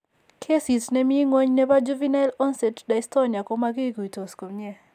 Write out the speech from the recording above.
Keesit ne mi ng'weny ne po juvenile onset dystonia ko makikuytos' komnyee.